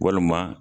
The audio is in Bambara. Walima